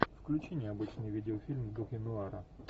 включи необычный видеофильм в духе нуара